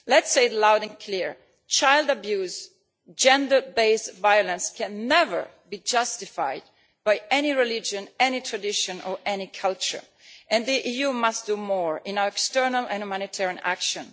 Let us say it loud and clear child abuse and gender based violence can never be justified by any religion, any tradition or any culture. The EU must do more in its external and humanitarian action.